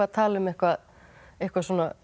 tala um eitthvað eitthvað